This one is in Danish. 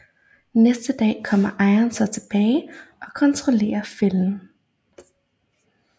Næste dag kommer ejeren så tilbage og kontrollerer fælden